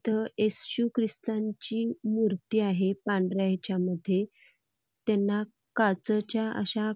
इथे येसू ख्रिस्ताची मूर्ती आहे पांढऱ्यामध्ये त्यांना काचेच्या अश्या|